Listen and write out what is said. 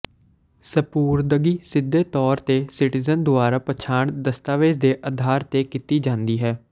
ਸਪੁਰਦਗੀ ਸਿੱਧੇ ਤੌਰ ਤੇ ਸਿਟੀਜ਼ਨ ਦੁਆਰਾ ਪਛਾਣ ਦਸਤਾਵੇਜ਼ ਦੇ ਆਧਾਰ ਤੇ ਕੀਤੀ ਜਾਂਦੀ ਹੈ